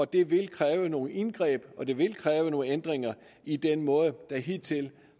det vil kræve nogle indgreb og det vil kræve nogle ændringer i den måde der hidtil